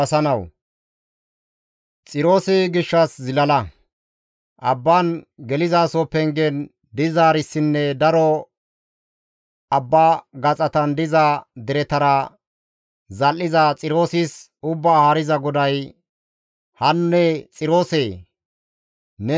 Abban gelizaso pengen dizaarissinne daro abba gaxatan diza deretara zal7iza Xiroosis, Ubbaa Haariza GODAY, «Hanne Xiroosee! ‹Neni nena keehippe lo7o› gadasa;